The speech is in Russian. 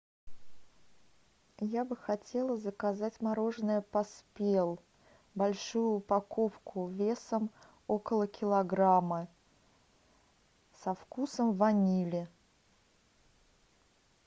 я бы хотела заказать мороженое поспел большую упаковку весом около килограмма со вкусом ванили